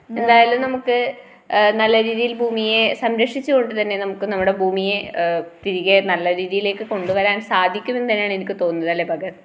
എന്തായാലും നമുക്ക് ആ നല്ലരീതിയിൽ ഭൂമിയെ സംരക്ഷിച്ചുകൊണ്ട് തന്നെ നമുക്ക് നമ്മുടെ ഭൂമിയെ തിരികെ നല്ല രീതിയിലേക്ക് കൊണ്ടുവരാൻ സാധിക്കുമെന്നുതന്നെയാണ് തോന്നുന്നത് അല്ലെ ഭഗത്.